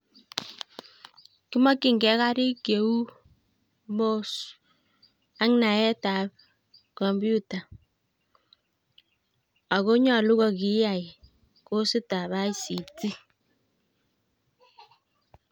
kimokyinge karik cheu mouse, ak naetab 'kompyuta' ako nyolu kokiiyai kositab information communicatuion technology.